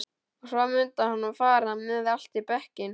Og svo mundi hann fara með allt í bekkinn.